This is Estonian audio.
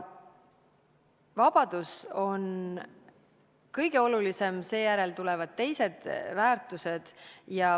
Vabadus on kõige olulisem, seejärel tulevad teised väärtused.